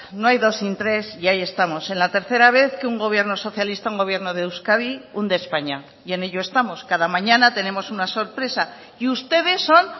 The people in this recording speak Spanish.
no hay dos sin tres y ahí estamos en la tercera vez que un gobierno socialista un gobierno de euskadi hunde españa y en ello estamos cada mañana tenemos una sorpresa y ustedes son